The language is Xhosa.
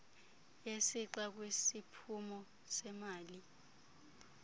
yesixa kwisiphumo semali